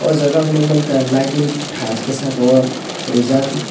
o jaga ang nongmanka lighting task ke saka o rijak.